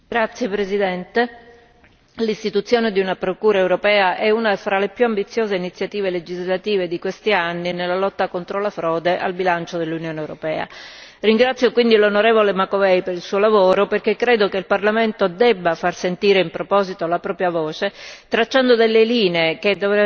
Signora Presidente, onorevoli colleghi, l'istituzione di una Procura europea è una tra le più ambiziose iniziative legislative di questi anni nella lotta contro la frode al bilancio dell'Unione europea. Ringrazio quindi l'onorevole Macovei per il suo lavoro perché credo che il Parlamento debba far sentire in proposito la propria voce, tracciando delle linee che